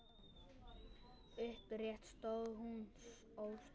Upprétt stóð hún óstudd.